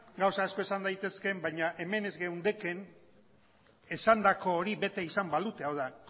gauza asko esan daitezke baina hemen ez geundekeen esandako hori bete izan balute hau da